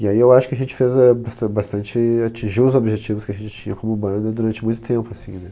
E aí eu acho que a gente fez a bastan bastante... Atingiu os objetivos que a gente tinha como banda durante muito tempo, assim, né?